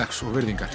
vegs og virðingar